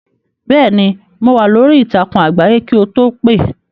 Bẹ́ẹ̀ ni, no wà lórí ìtàkùn àgbáyé kì o tó pè.